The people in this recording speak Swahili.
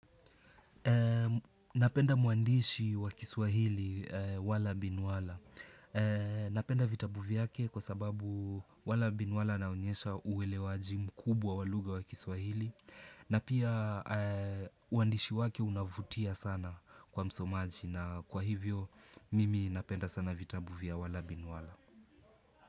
Napenda muandishi wa kiswahili wala bin wala. Napenda vitabu vyake kwa sababu wala bin wala anaonyesha uwelewaji mkubwa walugha wa kiswahili na pia uandishi wake unavutia sana kwa msomaji na kwa hivyo mimi napenda sana vitabu vya wala bin wala.